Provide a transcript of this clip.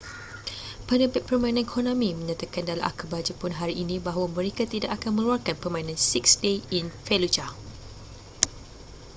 penerbit permainan konami menyatakan dalam akhbar jepun hari ini bahawa mereka tidak akan mengeluarkan permainan six days in fallujah